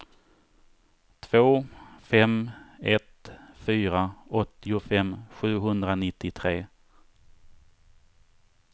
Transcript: två fem ett fyra åttiofem sjuhundranittiotre